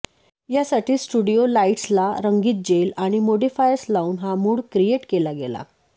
यासाठी स्टुडिओ लाईटस्ला रंगीत जेल आणि मोडीफायर्स लावून हा मूड क्रिएट केला गेला